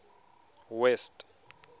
west